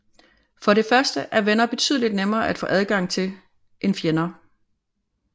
For det første er venner betydeligt nemmere at få adgang til end fjender